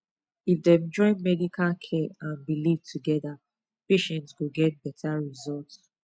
if dem join medical care and belief together patient go get better result